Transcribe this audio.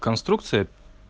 конструкция